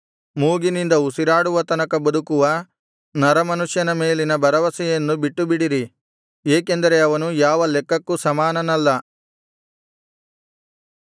ಮೂಗಿನಿಂದ ಉಸಿರಾಡುವ ತನಕ ಬದುಕುವ ನರಮನುಷ್ಯನ ಮೇಲಿನ ಭರವಸೆಯನ್ನು ಬಿಟ್ಟು ಬಿಡಿರಿ ಏಕೆಂದರೆ ಅವನು ಯಾವ ಲೆಕ್ಕಕ್ಕೂ ಸಮಾನನಲ್ಲ